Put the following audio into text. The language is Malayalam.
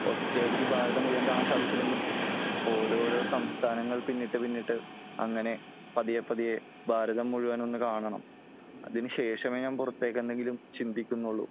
ഒറ്റയടിക്ക് ഭാരതം മുഴുവൻ കാണാൻ സാധിച്ചില്ലെങ്കിലും ഓരോരോ സംസ്ഥാനങ്ങൾ പിന്നിട്ട് പിന്നിട്ട് അങ്ങനെ പതിയെ പതിയെ ഭാരതം മുഴുവൻ ഒന്ന് കാണണം . അതിന് ശേഷമേ ഞാൻ പുറത്തേക്ക് എന്തെങ്കിലും ചിന്തിക്കുന്നുള്ളു